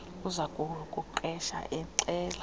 uza kukuqesha exela